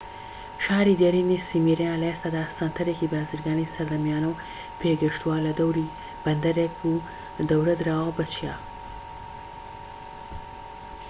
شاری دێرینی سمیرنا لە ئێستادا سەنتەرێکی بازرگانیی سەردەمیانە و پێگەشتووە لە دەوری بەندەرێك و دەورە دراوە بە چیا